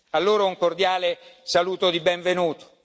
Porgo loro un cordiale saluto di benvenuto.